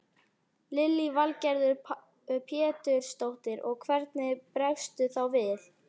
Lillý Valgerður Pétursdóttir: Og hvernig bregstu þá við?